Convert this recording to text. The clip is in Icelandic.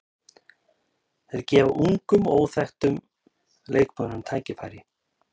Þeir gefa ungum og óþekktum leikmönnum tækifæri.